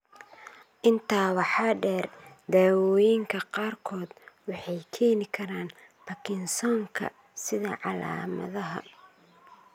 Intaa waxaa dheer, daawooyinka qaarkood waxay keeni karaan Parkinsonka sida calaamadaha.